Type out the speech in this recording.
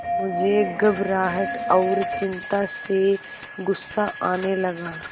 मुझे घबराहट और चिंता से गुस्सा आने लगा